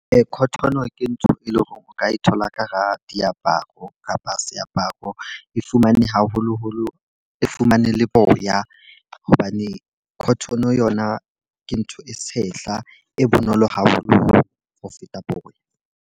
Cotton ke ntho e leng hore o ka e thola ka hara diaparo kapa seaparo. E fumane haholoholo e fumane le boya, hobane cotton yona ke ntho e tshehla, e bonolo haholo ho feta boya.